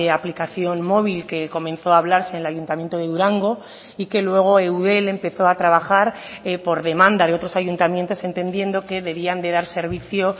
aplicación móvil que comenzó a hablarse en el ayuntamiento de durango y que luego eudel empezó a trabajar por demanda de otros ayuntamientos entendiendo que debían de dar servicio